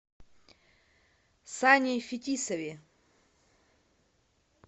сане фетисове